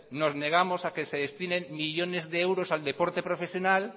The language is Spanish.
nos negamos a que se destinen millónes de euros al deporte profesional